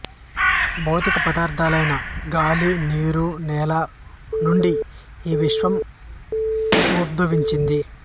భౌతిక పదార్థలైన గాలి నీరు నేల నుండి ఈ విశ్వం ఉద్భవించింది